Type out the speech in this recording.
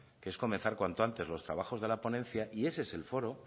que es comenzar cuanto antes los trabajos de la ponencia y ese es el foro